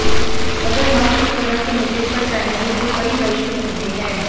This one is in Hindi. अगर हम इस तरह के मुद्दे पर जाएंगे तो कई वैश्विक मुद्दे हैं